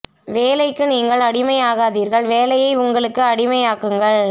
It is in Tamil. வேலைக்கு நீங்கள் அடிமையாகாதீர்கள் வேலையை உங்களுக்கு அடிமையாக்குங்கள்